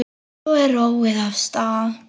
Svo er róið af stað.